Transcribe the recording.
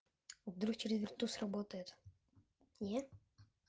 вдруг через блютуз работает нет